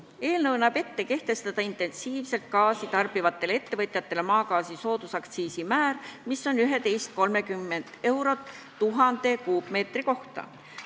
Eelnõu näeb ette kehtestada intensiivselt gaasi tarbivatele ettevõtjatele maagaasi soodusaktsiisi määr, mis on 11,30 eurot 1000 m3 kohta.